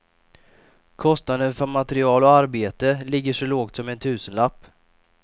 Kostnaden för material och arbete ligger så lågt som en tusenlapp.